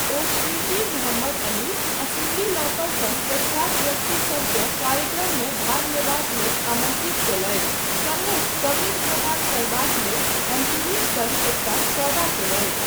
ओ Shri T. Muhammad Ali आ Cyndi Lauper सन प्रख्यात व्यक्तिसभकेँ कार्यक्रममे भाग लेबाक लेल आमन्त्रित कयलथि, सङ्गहि कवरेज प्रदान करबाक लेल एमटीवीक सङ्ग एकटा सौदा कयलथि।